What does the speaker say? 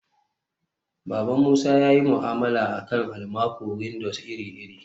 baban musa yayi mu'amala akan almaco-windows iri-iri